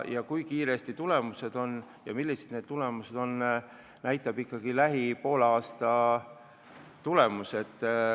Kui kiiresti tulemused ilmnevad ja millised need on, näeme poole aasta pärast.